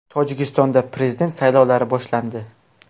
Tojikistonda prezident saylovlari boshlandi.